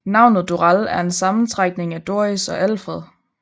Navnet Doral er en sammentrækning af Doris og Alfred